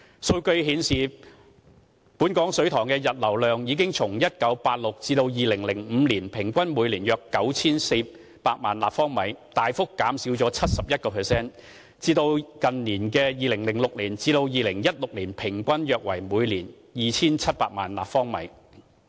數據顯示，本港水塘的溢流量已從1996年至2005年平均每年約 9,400 萬立方米，大幅減少約 71%， 至近年2006年至2016年平均約為每年 2,700 萬立方米。